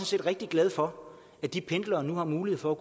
set rigtig glade for at de pendlere nu har mulighed for